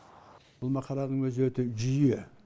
бұл мақаланың өзі өте жүйе